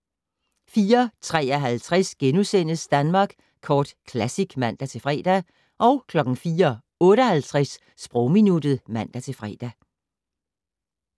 04:53: Danmark Kort Classic *(man-fre) 04:58: Sprogminuttet (man-fre)